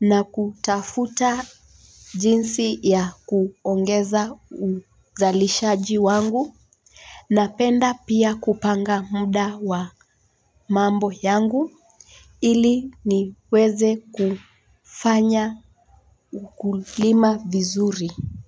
na kutafuta jinsi ya kuongeza uzalishaji wangu napenda pia kupanga muda wa mambo yangu ili niweze kufanya ukulima vizuri.